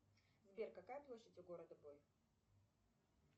сбер какая площадь у города бой